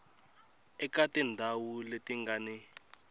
eka tindhawu leti nga ni